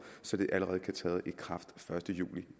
så det allerede kan træde i kraft første juli